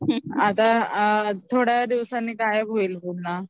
आता थोड्या दिवसांनी गायब होईल पुन्हा